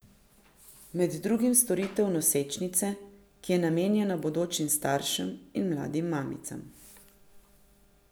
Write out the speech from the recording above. Med drugim storitev Nosečnice, ki je namenjena bodočim staršem in mladim mamicam.